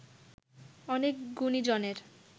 অনেক গুণীজনের